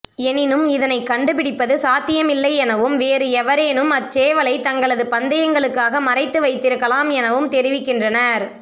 எனினும் இதனை கண்டு பிடிப்பது சாத்தியமில்லையெனவும் வேறு எவறேனும் அச் சேவலை தங்களது பந்தயங்களுக்காக மறைத்து வைத்திருக்கலாம் எனவும் தெரிவிக்கின்றனர்